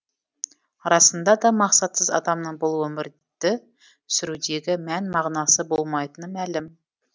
расында да мақсатсыз адамның бұл өмірді сүрудегі мән мағынасы болмайтыны мәлім